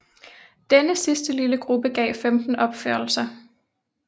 Denne sidste lille gruppe gav femten opførelser